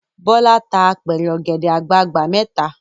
Bọ́lá tá apẹ̀rẹ̀ ọ̀gẹ̀dẹ̀ àgbagbà mẹ́ta.